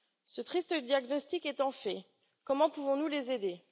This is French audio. Ce triste diagnostic étant posé, comment pouvons nous les aider?